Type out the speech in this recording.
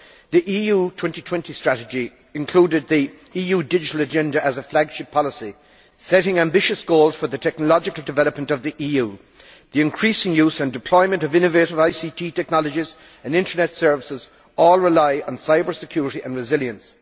The EU 2020 Strategy included the EU digital agenda as a flagship policy, setting ambitious goals for the technological development of the EU. The increasing use and deployment of innovative ICT technologies and internet services all rely on cyber security and resilience.